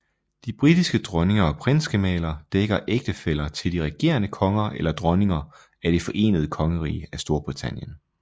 De britiske dronninger og prinsgemaler dækker ægtefæller til de regerende konger eller dronninger af Det Forenede Kongerige af Storbritannien